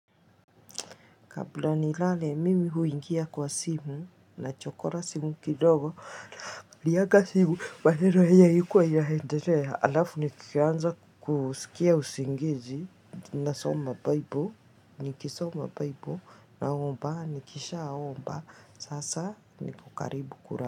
Kabla nilale mimi huingia kwa simu na chokora simu kidogo liaga simu wanero heye yikuwa ilahenderea alafu nikianza kusikia usingizi na soma baibo nikisoma baibo naomba nikisha aomba sasa nikokaribu kura.